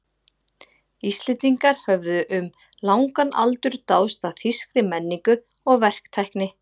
Íslendingar höfðu um langan aldur dáðst að þýskri menningu og verktækni.